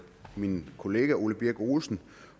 min kollega herre ole birk olesen